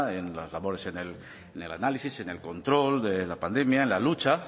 en las labores en el análisis en el control de la pandemia en la lucha